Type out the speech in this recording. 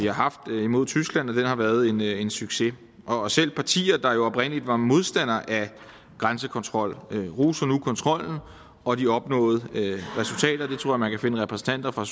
har haft mod tyskland har været en en succes og selv partier der oprindeligt var modstandere af grænsekontrol roser nu kontrollen og de opnåede resultater jeg tror man kan finde repræsentanter fra